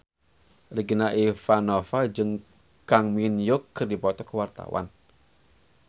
Regina Ivanova jeung Kang Min Hyuk keur dipoto ku wartawan